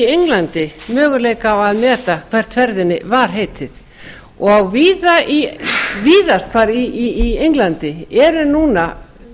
englandi möguleika á að lesa hvert ferðinni var heitið og víðast hvar í englandi eru núna